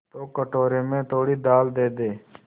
तो कटोरे में थोड़ी दाल दे दे